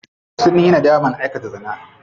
Sunyi nadaman aikata zina.